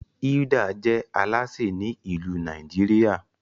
Hilda je Alásè Ni ilu Nàìjíríà